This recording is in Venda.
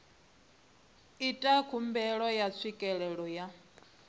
ita khumbelo ya tswikelelo ya